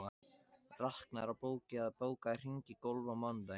Raknar, bókaðu hring í golf á mánudaginn.